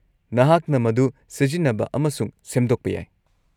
-ꯅꯍꯥꯛꯅ ꯃꯗꯨ ꯁꯤꯖꯤꯟꯅꯕ ꯑꯃꯁꯨꯡ ꯁꯦꯝꯗꯣꯛꯄ ꯌꯥꯏ ꯫